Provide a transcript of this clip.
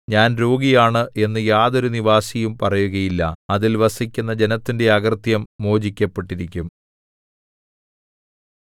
ഞാൻ രോഗിയാണ് എന്നു യാതൊരു നിവാസിയും പറയുകയില്ല അതിൽ വസിക്കുന്ന ജനത്തിന്റെ അകൃത്യം മോചിക്കപ്പെട്ടിരിക്കും